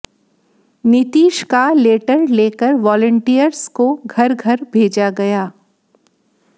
नीतीश का लेटर लेकर वॉलंटियर्स को घर घर भेजा गया